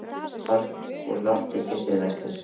Horft úr lofti til suðvesturs.